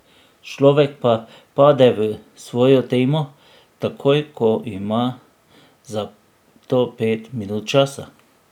Človek pa pade v svojo temo, takoj ko ima za to pet minut časa.